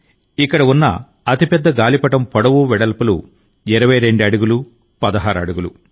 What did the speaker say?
ఇక్కడ ఉన్న అతిపెద్ద గాలిపటం పొడవు వెడల్పులు 22అడుగులు 16 అడుగులు